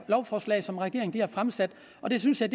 lovforslag som regeringen har fremsat og det synes jeg